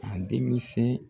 A denmisɛn.